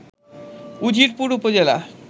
উজিরপুর উপজেলা